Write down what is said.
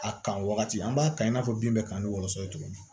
A kan wagati an b'a kan i n'a fɔ bin bɛ kan ni wɔlɔsɔ ye cogo min